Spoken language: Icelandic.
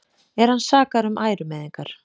Er hann sakaður um ærumeiðingar